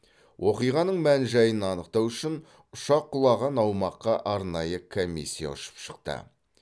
оқиғаның мән жайын анықтау үшін ұшақ құлаған аумаққа арнайы комиссия ұшып шықты